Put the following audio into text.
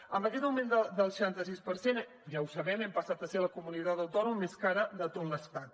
amb aquest augment del seixanta sis per cent ja ho sabem hem passat a ser la comunitat autònoma més cara de tot l’estat